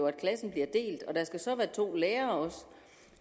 at klassen bliver delt og der skal så også være to lærere